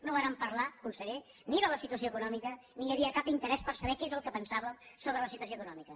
no vàrem parlar conseller ni de la situació econòmica ni hi havia cap interès per saber què és el que pensàvem sobre la situació econòmica